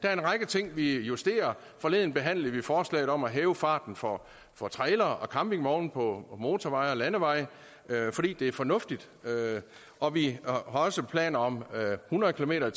er en række ting vi justerer forleden behandlede vi forslaget om at hæve farten for for trailere og campingvogne på motorveje og landeveje fordi det er fornuftigt og vi har også planer om hundrede kilometer